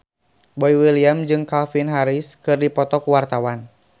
Boy William jeung Calvin Harris keur dipoto ku wartawan